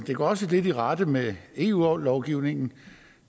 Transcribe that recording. det går også lidt i rette med eu lovgivningen